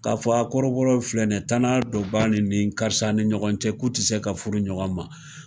Ka fɔ aa kɔrɔbɔrɔ filɛ nin tana dɔ filɛ ni ye tana dɔ b'a ni karisa ni ɲɔgɔn cɛ k'u te se ka furu ɲɔgɔn ma.